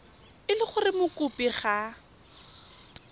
e le gore mokopi ga